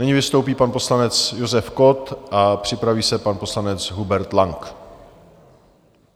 Nyní vystoupí pan poslanec Josef Kott a připraví se pan poslanec Hubert Lang.